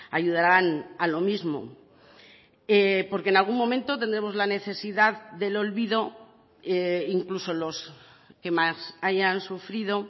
ayudarán a lo mismo porque en algún momento tendremos la necesidad del olvido incluso los que más hayan sufrido